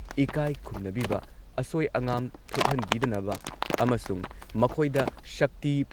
ꯏꯀꯥꯏ ꯈꯨꯝꯅꯕꯤꯕ, ꯑꯁꯣꯏ ꯑꯉꯥꯝ ꯊꯣꯛꯍꯟꯕꯤꯗꯅꯕ ꯑꯃꯁꯨꯡ ꯃꯈꯣꯏꯗ ꯁꯛꯇꯤ